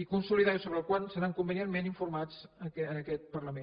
i consolidar i sobre el qual seran convenientment informats en aquest parlament